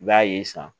I b'a ye san